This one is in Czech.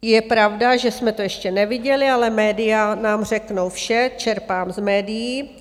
Je pravda, že jsme to ještě neviděli, ale média nám řeknou vše, čerpám z médií.